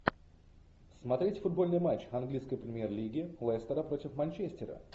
смотреть футбольный матч английской премьер лиги лестера против манчестера